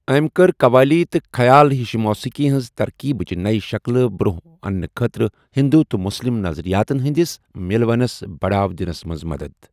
أمۍ کٔر قوالی تہٕ خیال ہِش موسیقی ہنٛز ترکیبٕچ نیہِ شکلہٕ برونٛہہ آنہٕ خٲطرٕ ہندو تہٕ مسلم نظریاتَن ہنٛدِس مِلوَنَس بڑاؤ دِنَس منٛز مدد۔